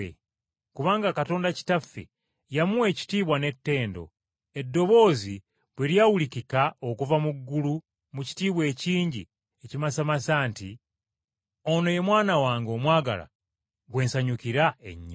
Kubanga Katonda Kitaffe yamuwa ekitiibwa n’ettendo, eddoboozi bwe lyawulikika okuva mu ggulu mu kitiibwa ekingi ekimasamasa nti, “Ono ye Mwana wange omwagalwa gwe nsanyukira ennyo.”